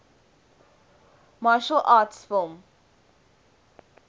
martial arts film